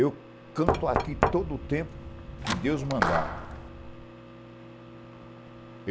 Eu canto aqui todo o tempo que Deus mandar.